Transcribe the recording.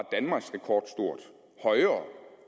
højere